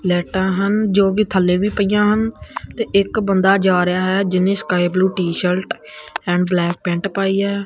ਲਾਈਟਾਂ ਹਨ ਜੋ ਕਿ ਥੱਲੇ ਵੀ ਪਈਆਂ ਹਨ ਤੇ ਇੱਕ ਬੰਦਾ ਜਾ ਰਿਹਾ ਹੈ ਜਿੰਨੇ sky blue T-shirt and black pant ਪਾਈ ਐ।